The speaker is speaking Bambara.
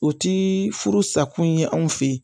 O ti furu sa kun ye anw fɛ yen